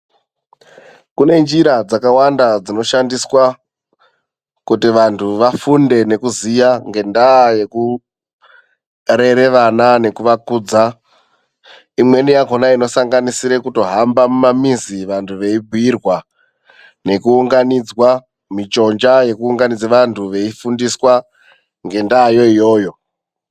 Kune njira dzakawanda dzinoshandiswa kuti vantu vafunde nekuziya ngendayekurere vana nekuvakudza. lmweni yakhona inosanganisire kutohamba mumamizi vantu veibhuirwa nekuunganidzwa michonja yekuunganidze vantu veifundiswa ngendayo iyoyo.